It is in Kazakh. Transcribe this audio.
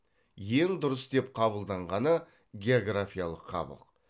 ең дұрыс деп қабылданғаны географиялық қабық